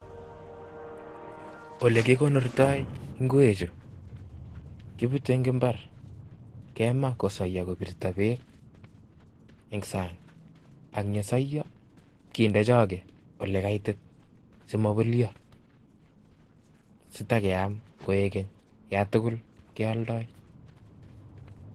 Olekikonortoi ing'wechu kebute eng' imbar, kemaa kosoyo kobirto beek eng' sang ak yesoyo kinde choke olekaitit simobolyo sitakiam koik keny yatukul kioldoi.